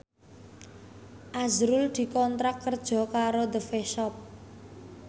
azrul dikontrak kerja karo The Face Shop